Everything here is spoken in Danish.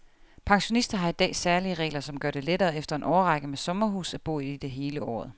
Pensionister har i dag særlige regler, som gør det lettere efter en årrække med sommerhus at bo i det hele året.